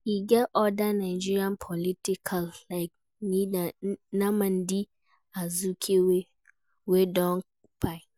E get oda Nigerian politicial like Nnamdi Azikiwe wey don kpai